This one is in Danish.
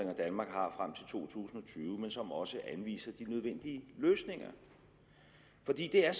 tusind og tyve men som også anviser de nødvendige løsninger det er